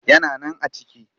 Yana nan a ciki